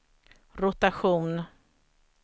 rotation